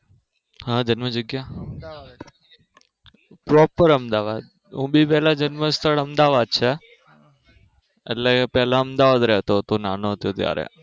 હા જન્મ જગ્યા Proper અમદાવાદ હું ભી પેલા જન્મ સ્થળ અમદાવાદ છે એટલે પેલા અમદાવાદ રેહતો તો નાનો હતો ત્યારે